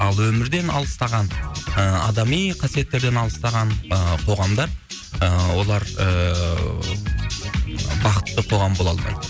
ал өмірден алыстаған і адами қасиеттерден алыстаған і қоғамдар і олар ііі бақытты қоғам бола алмайды